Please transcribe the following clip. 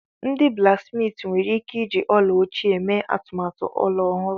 Ndị blaksmiiti nwere ike iji ọla ochie mee atụmatụ ọla ọhụrụ.